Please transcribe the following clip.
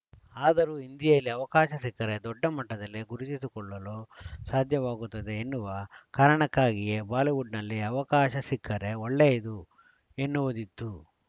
ಆದರೂ ಹಿಂದಿಯಲ್ಲಿ ಅವಕಾಶ ಸಿಕ್ಕರೆ ದೊಡ್ಡ ಮಟ್ಟದಲ್ಲಿ ಗುರುತಿಸಿಕೊಳ್ಳಲು ಸಾಧ್ಯವಾಗುತ್ತದೆ ಎನ್ನುವ ಕಾರಣಕ್ಕಾಗಿಯೇ ಬಾಲಿವುಡ್‌ನಲ್ಲಿ ಅವಕಾಶ ಸಿಕ್ಕರೆ ಒಳ್ಳೆಯದು ಎನ್ನುವುದಿತ್ತು